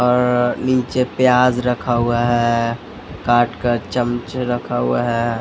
और अ नीचे प्याज़ रखा हुआ है अ अ काट कर चमचे रखा हुआ है अ।